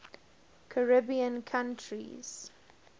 caribbean countries